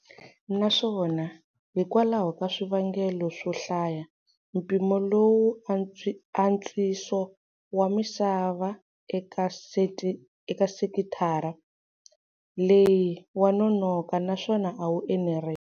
Naswona hikwalaho ka swivangelo swo hlaya, mpimo lowu antswiso wa misava eka sekitara leyi wa nonoka naswona a wu enerisi.